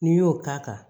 N'i y'o k'a kan